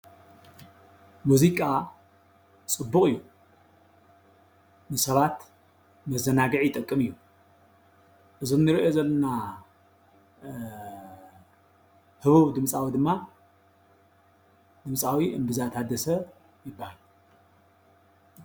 መዚቃ ፅቡቅ እዩ ።ንሰባት መዘናግዕ ይጠቅም እዩ። እዚ ንሪኦ ዘለና ሁቡብ ድምፃዊ ድማ ድምፃዊ እምብዛ ታደሰ ይብሃል።